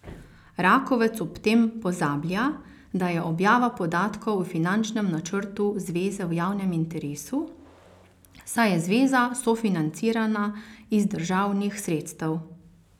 Rakovec ob tem pozablja, da je objava podatkov o finančnem načrtu zveze v javnem interesu, saj je zveza sofinancirana iz državnih sredstev.